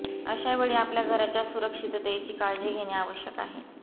अशा वेळी आपल्या घराच्या सुरक्षिततेची काळजी घेणे आवश्यक आहे